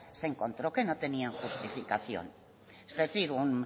se encontró que no tenían justificación es decir un